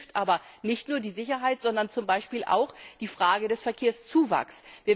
Das betrifft aber nicht nur die Sicherheit, sondern zum Beispiel auch die Frage des Verkehrszuwachses.